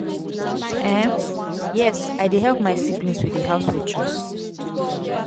um yes i dey help my siblings with di household chores.